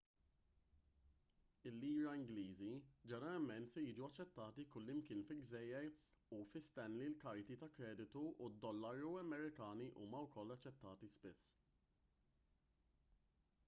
il-liri ingliżi ġeneralment se jiġu aċċettati kullimkien fil-gżejjer u fi stanley il-karti ta' kreditu u d-dollari amerikani huma wkoll aċċettati spiss